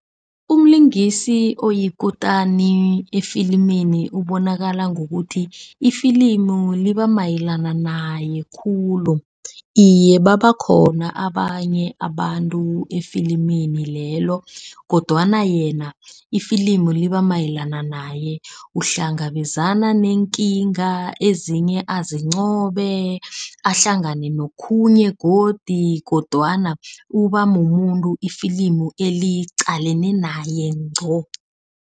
Umlingisi oyikutani efilimini ubonakala ngokuthi, ifilimu liba mayelana naye khulu. Iye, babakhona abanye abantu efilimini lelo kodwana yena, ifilimu liba mayelana naye. Uhlangabezana neenkinga ezinye azincobe, ahlangane nokhunye godi kodwana uba mumuntu ifilimu eliqalene naye ngco.